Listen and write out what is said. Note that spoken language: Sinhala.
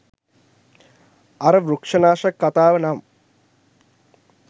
අර වෘක්ෂනාශක කතාව නම්